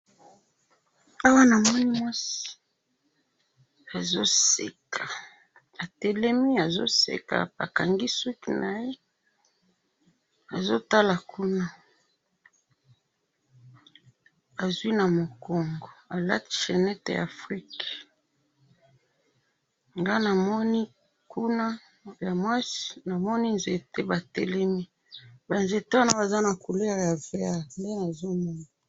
awa namoni mwasi azo seka atelemi azo seka akangi suki naye azo tala kuna azwi na mukongo alati chenete ya afrique nga namoni kuna ya mwasi namoni nzete batelemi ba nzete wana baza na couleur ya verte nde nazomona.